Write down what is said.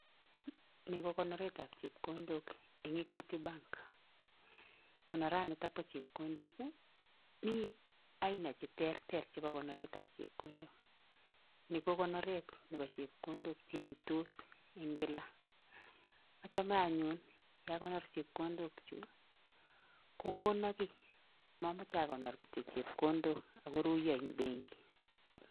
Ni ko konoretab chepkondok eng equity bank, konoranito bo chepkondok ii, mi aina che terter chebo konoretab chepkondok, ni ko konoret nebo chepkondok che iytos eng kila. achame anyun ye akonor chepkondokchuk kokono kiy, momoche akonor kityo chepkondok ak koruiyo eng benki.